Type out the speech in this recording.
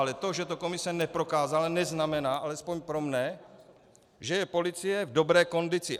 Ale to, že to komise neprokázala, neznamená, alespoň pro mne, že je policie v dobré kondici.